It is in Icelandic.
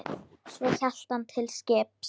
Svo hélt hann til skips.